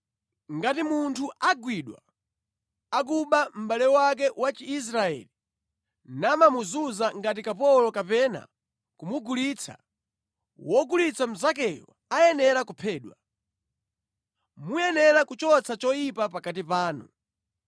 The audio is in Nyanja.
Ngati munthu agwidwa akuba mʼbale wake wa Chiisraeli namamuzunza ngati kapolo kapena kumugulitsa, wogulitsa mnzakeyo ayenera kuphedwa. Muyenera kuchotsa choyipa pakati panu.